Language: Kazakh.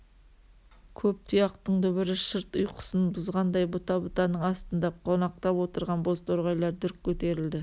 көп тұяқтың дүбірі шырт ұйқысын бұзғандай бұта-бұтаның астында қонақтап отырған бозторғайлар дүрк көтерілді